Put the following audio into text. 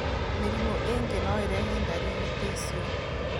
Mĩrimũ ĩngĩ no ĩrehe ndariri ta icio.